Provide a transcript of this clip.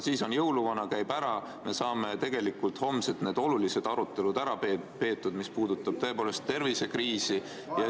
Siis on siin jõuluvana, ta käib ära, me saame homsed olulised arutelud ära peetud, mis puudutavad tõepoolest tervisekriisi.